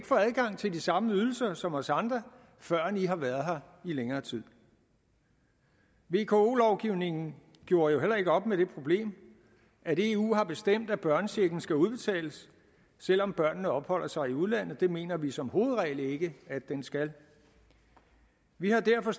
få adgang til de samme ydelser som os andre førend de har været her i længere tid vko lovgivningen gjorde jo heller ikke op med det problem at eu har bestemt at børnechecken skal udbetales selv om børnene opholder sig i udlandet det mener vi som hovedregel ikke at den skal vi har derfor